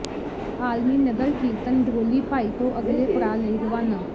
ਆਲਮੀ ਨਗਰ ਕੀਰਤਨ ਡਰੋਲੀ ਭਾਈ ਤੋਂ ਅਗਲੇ ਪੜਾਅ ਲਈ ਰਵਾਨਾ